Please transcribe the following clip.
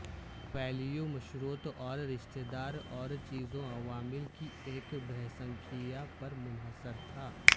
value مشروط اور رشتہ دار اور چیزوں عوامل کی ایک بہسنکھیا پر منحصر تھا